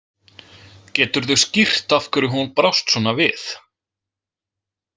Geturðu skýrt af hverju hún brást svona við?